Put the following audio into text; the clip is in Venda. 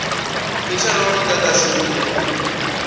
na mithara wa mudagasi une